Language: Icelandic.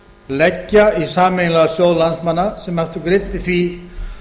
leggja í sameiginlegan sjóð landsmanna sem aftur greiddi því